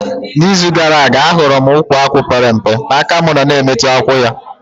Na izu gara aga, ahụrụ m ukwu akwụ pere mpe, aka mụ nọ na emetụ akwụ ya